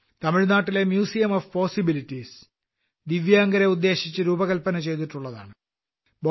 തമിഴ്നാട്ടിലെ museum of possibilities ദിവ്യാംഗരെ ഉദ്ദേശിച്ച് രൂപകല്പന ചെയ്തിട്ടുള്ളതാണ്